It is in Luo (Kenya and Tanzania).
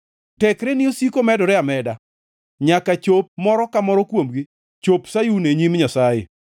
Tekreni osiko medore ameda, nyaka chop moro ka moro kuomgi chop Sayun e nyim Nyasaye.